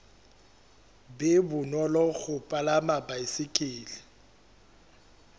be bonolo ho palama baesekele